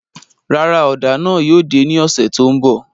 Rárá, ọ́da náà yóò de ni ọsẹ to nbọ